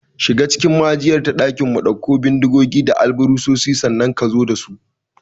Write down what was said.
Shiga cikin maijiyar ta ɗakinmu, ɗauko bindigogi da alburusai, sannan ka zo da su!